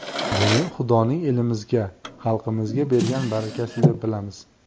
Buni Xudoning elimizga, xalqimizga bergan barakasi deb bilamiz.